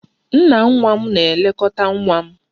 Nna nwa m na-elekọta nwa m